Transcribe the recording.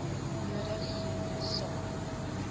nodig hiermee saam